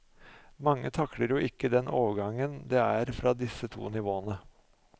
Mange takler jo ikke den overgangen det er fra disse to nivåene.